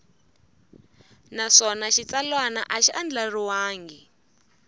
naswona xitsalwana a xi andlariwangi